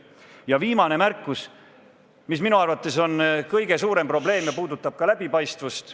Ja viimane märkus, mis minu arvates on kõige suurem probleem ja puudutab ka läbipaistvust.